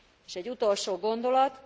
És egy utolsó gondolat.